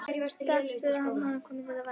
Samt spurði hann hana hvaða mynd þetta væri.